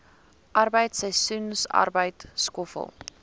arbeid seisoensarbeid skoffel